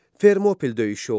Fermopil döyüşü oldu.